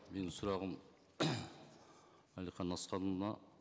менің сұрағым әлихан асханұлына